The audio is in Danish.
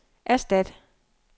erstat